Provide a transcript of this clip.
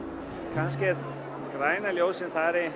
kannski er græna ljósið bara